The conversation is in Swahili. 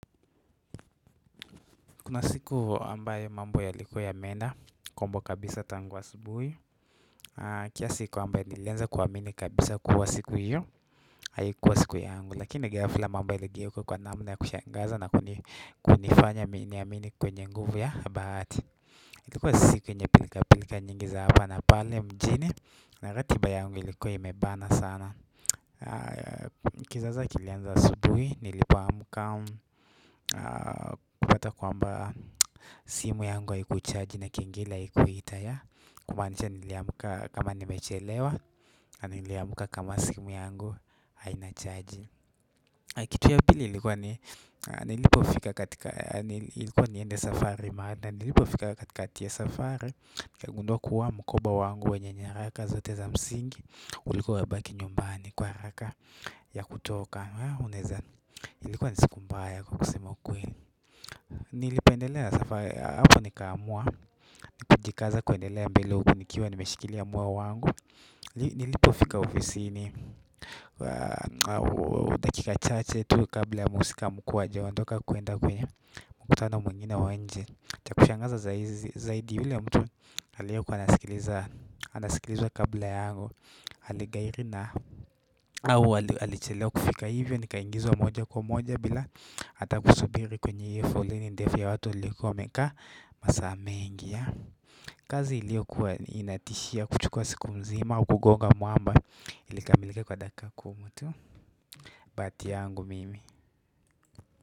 Kuna siku ambayo mambo yalikuwa yameenda kombo kabisa tangu asubuhi kiasi kwamba nilianza kuamini kabisa kuwa siku hiyo, haikuwa siku yangu lakini ghafla mambo yaligeuka kwa namna ya kushangaza na kunifanya niamini kwenye nguvu ya bahati ilikuwa siku yenye pilika pilika nyingi za hapa na pale mjini na ratiba yangu ilikuwa imebana sana. Kizaza kilianza asubuhi nilipoamka kuleta kwamba simu yangu haikuchaji na kengele haikuita ya kumaanisha niliamka kama nimechelewa na niliamka kama simu yangu haina chaji kitu ya pili nilipofika katika ilikuwa niende safari maana nilipofika katikati ya safari nikagundua kuwa mkoba wangu wenye nyaraka zote za msingi ulikuwa umebaki nyumbani kwa haraka za kutoka ilikuwa ni siku mbaya nilipoendelea na safari hapo nikamua kujikaza kuendelea mbele huku nikiwa nimeshikilia moyo wangu nilipofika ofisini dakika chache tu kabla ya mhusika mkuu hajaondoka kuenda kwenye mkutano mwingine wa nje cha kushangaza zaidi yule mtu aliyekuwa anasikilizwa kabla yangu aligairi na au alichelewa kufika hivyo, nikaingizwa moja kwa moja bila ata kusubiri kwenye iyo foleni ndefu ya watu walikuwa wameeka masaa mengi ya kazi iliokuwa inatishia kuchukua siku mzima au kugonga mwamba ilikamilika kwa dakika kumi tu bahati yangu mimi.